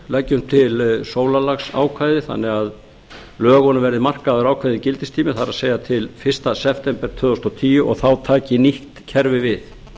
leggjum til sólarlagsákvæði þannig að lögunum veri markaður ákveðinn gildistími það er til fyrsta september tvö þúsund og tíu og þá taki nýtt kerfi við